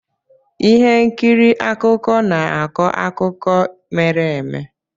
Ihe nkiri akụkọ na-akọ akụkọ mere eme.